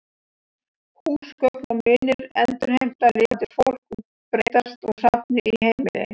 Húsgögn og munir endurheimta lifandi fólk og breytast úr safni í heimili.